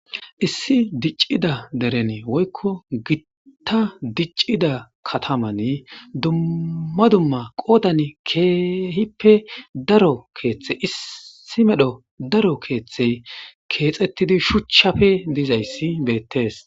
Issi diccida derene woykko gitta diccida kataman dumma dumma qoodan keehippe daro keeththe issi medho daro keeththey keexettidi shuchchafe dizayssi beettees.